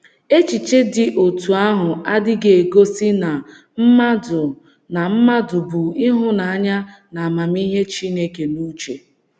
Echiche dị otú ahụ adịghị egosi na mmadụ na mmadụ bu ịhụnanya na amamihe Chineke n’uche.